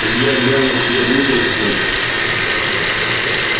илья глянул себе внутрь в муть